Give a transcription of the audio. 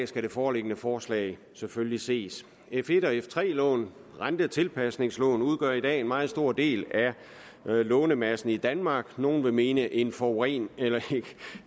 skal det foreliggende forslag selvfølgelig ses f1 og f3 lån rentetilpasningslån udgør i dag en meget stor del af lånemassen i danmark nogle vil mene en foruroligende